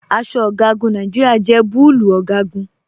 Aṣọ ọgagun Nàìjíríà jẹ bùlúù ọgagun.